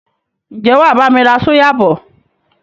Ǹjẹ́ wàá bami ra súyà bọ̀?